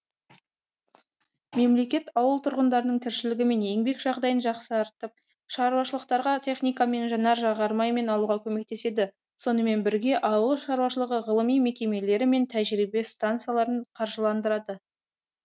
мемлекет ауыл тұрғындарының тіршілігі мен еңбек жағдайын жақсартып шаруашылықтарға техника мен жанар жағармай алуға көмектеседі сонымен бірге ауыл шаруашылығы ғылыми мекемелері мен тәжірибе стансаларын қаржыландырады